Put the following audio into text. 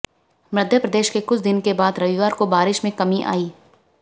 मध्य प्रदेश में कुछ दिन के बाद रविवार को बारिश में कमी आई